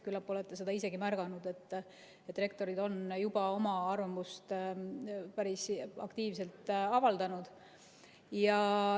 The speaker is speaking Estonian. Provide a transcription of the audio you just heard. Küllap olete isegi märganud, et rektorid on oma arvamust juba päris aktiivselt avaldanud.